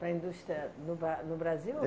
Para a indústria no Bra no Brasil?